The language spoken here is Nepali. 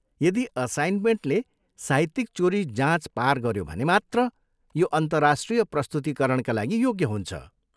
यदि असाइनमेन्टले साहित्यिक चोरी जाँच पार गऱ्यो भने मात्र यो अन्तर्राष्ट्रिय प्रस्तुतीकरणका लागि योग्य हुन्छ।